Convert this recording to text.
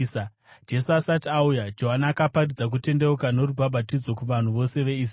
Jesu asati auya, Johani akaparidza kutendeuka norubhabhatidzo kuvanhu vose veIsraeri.